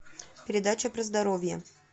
передача про здоровье